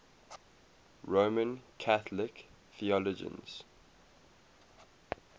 roman catholic theologians